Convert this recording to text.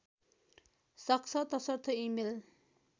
सक्छ तसर्थ इमेल